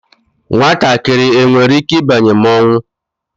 Nwatakịrị enwere ike ịbanye mmọnwụ?